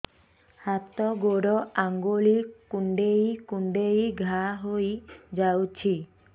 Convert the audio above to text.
ହାତ ଗୋଡ଼ ଆଂଗୁଳି କୁଂଡେଇ କୁଂଡେଇ ଘାଆ ହୋଇଯାଉଛି